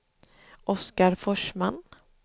Oscar Forsman